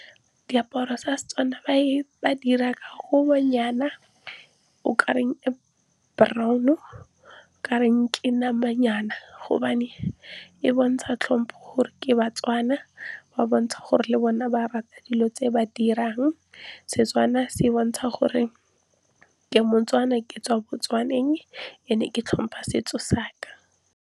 Diaparo tsa seTswana ba 'ira ka kobonyana o kare e brown-o, o kareng ke namanyana gobane e bontsha tlhompo gore ke baTswana. Ba bontsha gore le bona ba rata dilo tse ba dirang. SeTswana se bontsha gore ke moTswana ke tswa boTswaneng and-e ke tlhompha setso saka.